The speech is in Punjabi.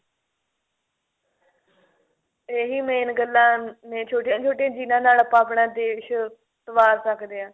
ਇਹ ਵੀ main ਗੱਲਾਂ ਨੇ ਛੋਟੀਆਂ ਛੋਟੀਆਂ ਜਿਹਨਾ ਨਾਲ ਆਪਾਂ ਆਪਣਾ ਦੇਸ਼ ਸਵਾਰ ਸਕਦੇ ਆਂ